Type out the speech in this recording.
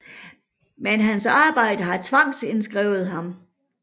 Men hans arbejdet har tvangsindskrevet ham